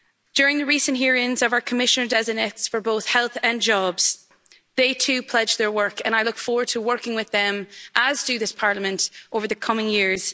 During the recent hearings of our Commissioners designate for both health and jobs, they too pledged to work hard, and I look forward to working with them, as does this Parliament, in the coming years.